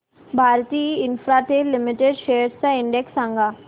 Bharti Infratel limited shares चा index सांगा